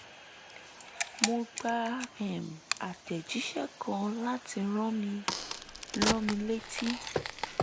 mo gba um àtẹ̀jíṣẹ́ kan láti rán mi rán mi létí